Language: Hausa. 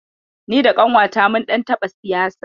Ni da ƙanwata mun ɗan taɓa siyasa.